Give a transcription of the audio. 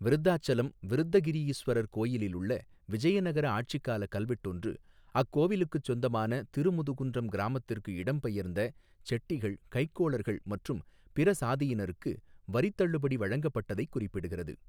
விருதாச்சலம் விருத்தகிரியீஸ்வரர் கோயிலுள்ள விஜயநகர ஆட்சிக்கால கல்வெட்டொன்று அக்கோவிலுக்குச் சொந்தமான திருமுதுகுன்றம் கிராமத்திற்கு இடம் பெயர்ந்த செட்டிகள் கைக்கோளர்கள் மற்றும் பிற சாதியினர்க்கு வரித்தள்ளுபடி வழங்கப்பட்டதைக் குறிப்பிடுகிறது.